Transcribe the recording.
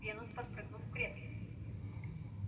венус подпрыгнул в кресле